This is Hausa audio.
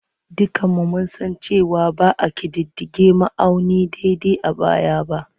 Dukanmu mun san cewa ba a ƙididdige ma'auni daidai a baya ba.